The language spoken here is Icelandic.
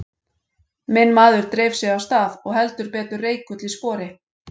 Minn maður dreif sig af stað og heldur betur reikull í spori.